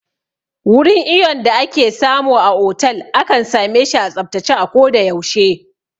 Wurin iyon da ake samu a otal akan same shi a tsaftace a ko da yaushe